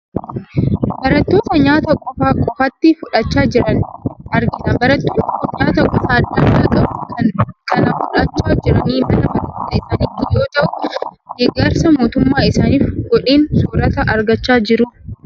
Barattoota nyaata qofaa qofaatti fudhachaa jiran argina. Barattoonni kun nyaata gosa adda addaa qabu kana kan fudhachaa jirani mana barnootaa isaaniitii yoo ta'u, deeggarsa mootummaan isaaniif godheen soorata argachaa jiru.